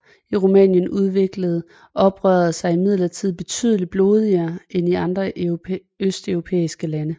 I Rumænien udviklede oprøret sig imidlertid betydeligt blodigere end i andre østeuropæiske lande